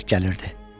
Əskik gəlirdi.